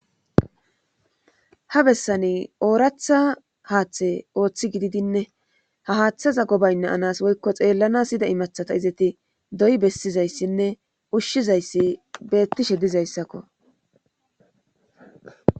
ha bessani ooratha haaththe ooththi gididinne ha haaththaza gobayanas woykko xeellanas yida imathata izeti doyi bessizayssinne ushshizayssi beettishe dizayssakko